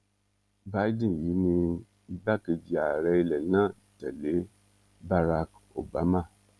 biden yìí ni igbákejì ààrẹ ilẹ̀ náà tẹ̀lé barak obama